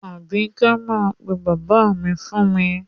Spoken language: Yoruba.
Àbíkẹ́ máa pe bàbá mi fún mi.